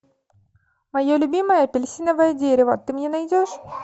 мое любимое апельсиновое дерево ты мне найдешь